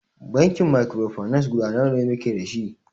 Bankin mikrofinance guda nawa muke dashi?